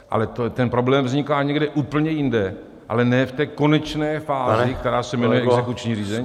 Ale ten problém vzniká někde úplně jinde, ale ne v té konečné fázi , která se jmenuje exekuční řízení.